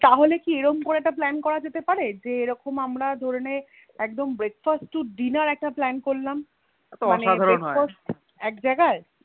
তাহলে কি এরম করে একটা Plan করা যেতে পারে যে এরকম আমরা ধরে নেইএকদম Breakfast to dinner একটা Plan করলাম মানে Breakfast এক জায়গায়